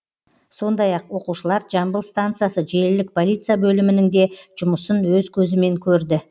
сондай ақ оқушылар жамбыл станциясы желілік полиция бөлімінің де жұмысын өз көзімен көрді